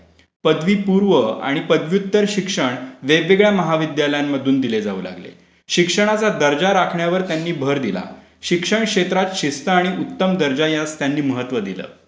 पदवी पूर्व आणि पदव्युत्तर शिक्षण वेगवेगळ्या महाविद्यालयांमधून दिले जाऊ लागले. शिक्षणाचा दर्जा राखण्यावर त्यांनी भर दिला. शिक्षण क्षेत्रात शिस्त आणि उत्तम दर्जा यास त्यांनी महत्त्व दिले.